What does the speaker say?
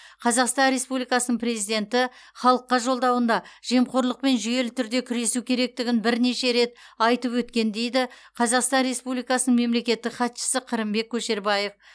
қазақстан республикасының президенті халыққа жолдауында жемқорлықпен жүйелі түрде күресу керектігін бірнеше рет айтып өткен дейді қазақстан республикасының мемлекеттік хатшысы қырымбек көшербаев